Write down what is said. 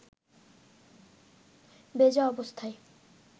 ভেজা অবস্থায়